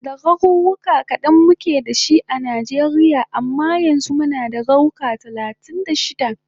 Da garuruka kadan muke dashi a Nijeria amma yanzu muna da garuka talatin da shida